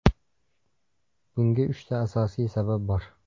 Bunga uchta asosiy sabab bor.